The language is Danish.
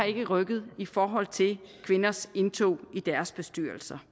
ikke har rykket i forhold til kvinders indtog i deres bestyrelser